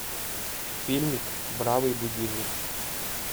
фильмик бравый будильник